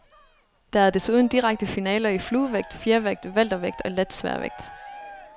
Der er desuden direkte finaler i fluevægt, fjervægt, weltervægt og letsværvægt.